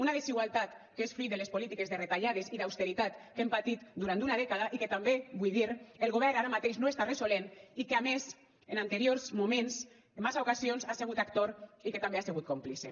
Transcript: una desigualtat que és fruit de les polítiques de retallades i d’austeritat que hem patit durant una dècada i que també ho vull dir el govern ara mateix no està resolent i que a més en anteriors moments en massa ocasions ha sigut actors i que també ha sigut còmplice